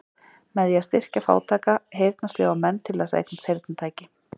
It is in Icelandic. Með því að styrkja fátæka, heyrnarsljóa menn til þess að eignast heyrnartæki.